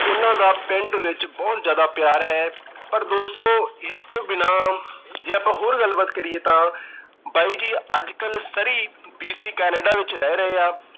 ਉਹਨਾਂ ਦਾ ਪਿੰਡ ਵਿੱਚ ਬਹੁਤ ਜਿਆਦਾ ਪਿਆਰ ਹੈ। ਪਰ ਦੋਸਤੋ ਇਸ ਤੋਂ ਬਿਨਾਂ ਜੇ ਆਪਾਂ ਹੋਰ ਗੱਲਬਾਤ ਕਰੀਏ ਤਾਂ ਬਾਈ ਜੀ ਅੱਜ ਕੱਲ੍ਹ Surrey BC Canada ਵਿੱਚ ਰਹਿ ਰਹੇ ਆ।